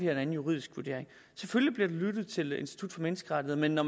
har en anden juridisk vurdering selvfølgelig bliver der lyttet til institut for menneskerettigheder men når